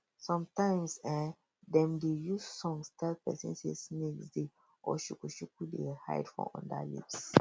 sometimes ehndem dey use songs tell persin say snakes dey or shukushuku dey hide um for under um leaves